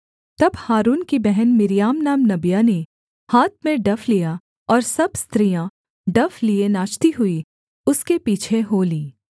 तब हारून की बहन मिर्याम नाम नबिया ने हाथ में डफ लिया और सब स्त्रियाँ डफ लिए नाचती हुई उसके पीछे हो लीं